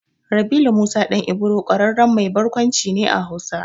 Rabilu Musa ɗan Ibro ƙwararren mai barkwanci ne a Hausa.